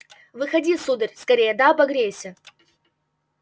выходи сударь скорее да обогрейся